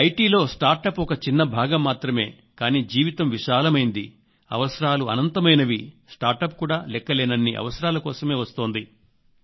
IT లో startup కూడా లెక్కలేనన్ని అవసరాల కోసమే వస్తోంది